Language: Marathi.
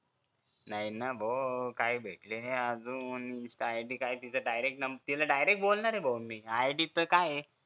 नाही ना भो काय भेटली नाही अजून अं काय तिला direct बोलणार भो मी ID च काय आहे